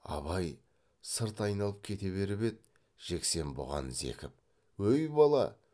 абай сырт айналып кете беріп еді жексен бұған зекіп өй бала